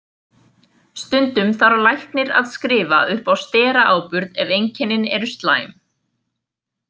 Stundum þarf læknir að skrifa upp á steraáburð ef einkennin eru slæm.